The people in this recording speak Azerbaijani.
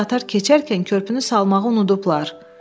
Görünür qatar keçərkən körpünü salmağı unudublar.